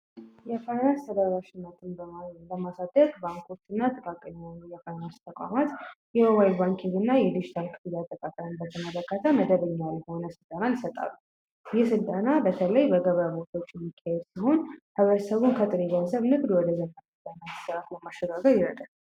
የፈረስ ተደራሽነትን ለማሳደግ ባንኮች እናና ጥቃቅን የፋይናንስ ተቋማት የሞባይል ባንኪግ እና የድጂታል ክፍያን አጠቃቀምን በተመለከተመደበኛዊ የሆነ ስልጠና ይሰጣሉ። ይክ ስልጠና በተለይ በገበያ ቦታወች የሚካሄድ ሲሆን ሕብረተሰቡን ከጥሬ ገንዘብ ንግድ ለማሸጋገር ይረዳል።